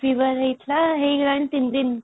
ହେଇଗଲାଣି 3 ଦିନ |